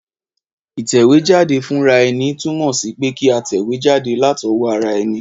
Ìtẹ̀wéjáde fúnraeni tùnmò sí pe kí a tẹ̀wé jáde látowó ara eni